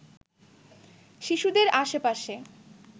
শিশুদের আশেপাশে